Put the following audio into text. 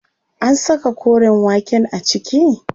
An saka koren waken a ciki?